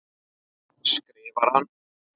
skrifar hann.